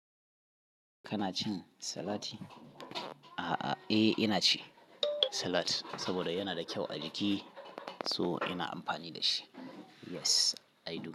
Kana cin salati? A'a, eh ina ci salat saboda yana da kyau a jiki, so ina amfani da shi. Yes, I do.